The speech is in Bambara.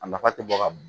A nafa tɛ bɔ ka b